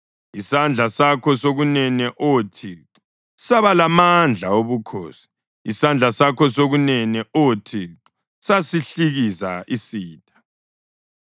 Isandla sakho sokunene, Oh Thixo, saba lamandla obukhosi. Isandla sakho sokunene, Oh Thixo, sasihlikiza isitha.